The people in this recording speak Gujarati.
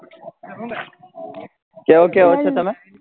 કયો કયો છો તમે?